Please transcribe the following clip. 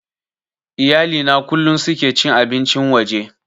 Iyali na kullum suke cin abincin waje